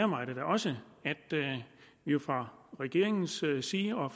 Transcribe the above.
mig da også at vi jo fra regeringens side og